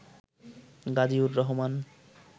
Gaziur Rahman